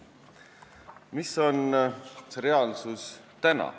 Milline on praegu tegelik olukord?